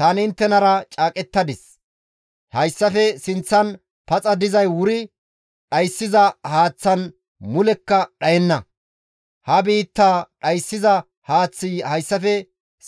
Tani inttenara caaqettadis; hayssafe sinththan paxa dizay wuri dhayssiza haaththan mulekka dhayenna; ha biittaa dhayssiza haaththi hayssafe